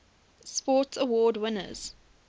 sports awards winners